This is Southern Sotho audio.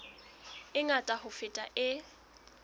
e ngata ho feta e